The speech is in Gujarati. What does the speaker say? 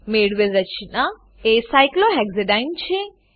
મેળવેલ રચના એ સાયક્લોહેક્સાડીને છે